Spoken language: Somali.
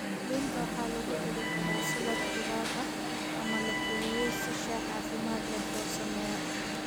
Liinta waxaa lagu dari karaa salad khudaar ah ama la kariyey si shaah caafimaad leh loo sameeyo.